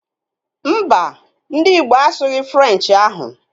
Mbà, ndị Igbo asughi Frenchi ụnyaahụ